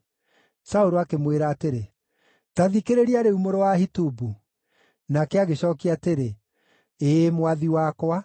Saũlũ akĩmwĩra atĩrĩ, “Ta thikĩrĩria rĩu, mũrũ wa Ahitubu.” Nake agĩcookia atĩrĩ, “Ĩĩ, mwathi wakwa.”